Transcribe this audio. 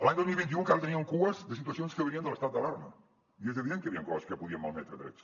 l’any dos mil vint u encara teníem cues de situacions que venien de l’estat d’alarma i és evident que hi havien coses que podien malmetre drets